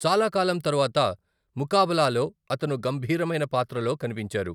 చాలా కాలం తరువాత ముకాబలాలో అతను గంభీరమైన పాత్రలో కనిపించారు.